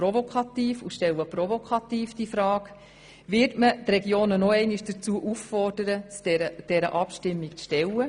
Und nun etwas provokativ: Wird man die Regionen noch einmal dazu auffordern, sich dieser Abstimmung zu stellen?